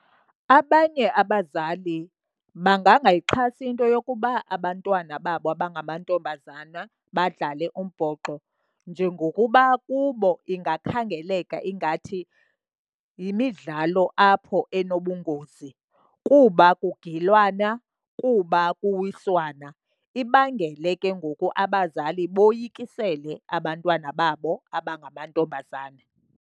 Abanye abazali bangangayixhasi into yokuba abantwana babo abangamantombazana badlale umbhoxo njengokuba kubo ingakhangeleka ingathi yimidlalo apho enobungozi kuba kugilwana, kuba kuwiswana. Ibangele ke ngoku abazali boyikisele abantwana babo abangamantombazana.